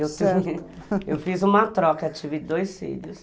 Eu fiz uma troca, tive dois filhos.